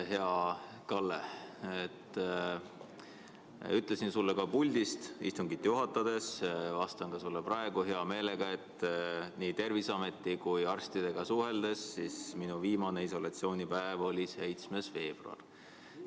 Hea Kalle, ma ütlesin sulle istungit juhatades ja ütlen ka praegu hea meelega, et nii Terviseameti kui arstidega suheldes sain kinnitust, et minu viimane isolatsioonipäev oli 7. veebruar.